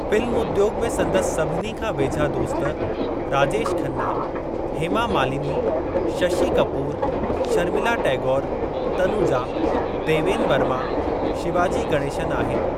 Film उद्योग में संदसि सभिनी खां वेझा दोस्त राजेश खन्ना, हेमा मालिनी, शशि कपूर, शर्मिला टैगोरु, तनुजा, देवेन वर्मा, शिवाजी गणेशन आहिनि।